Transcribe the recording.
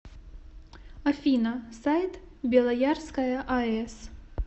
афина сайт белоярская аэс